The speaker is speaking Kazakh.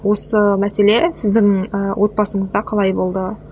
осы мәселе сіздің ііі отбасыңызда қалай болды